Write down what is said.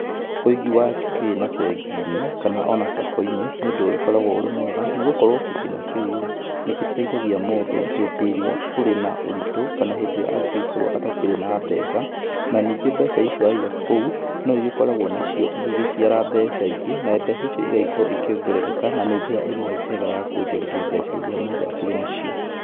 Ũigi wa kĩgĩna bengi-inĩ, kana ona Sacco-inĩ, nĩ ũndũ ũgĩkoragũo ũrĩ mwega, nĩgũkorũo kĩgĩna kĩu-rĩ, nĩgĩteithaigia mũndũ hĩndĩ ĩrĩa kũrĩ na ũritũ kana hĩndĩ ĩrĩa angĩgĩkorũo atakĩrĩ na mbeca, na ningĩ mbeca icio aiga kũu, no igĩgĩkoragũo nacio igĩgĩciara mbeca ingĩ, na mbeca icio igagĩkorũo ikĩongerereka, na njĩra ĩmwe njega ya kuonjorithia mbeca iria mũndu akĩrĩ nacio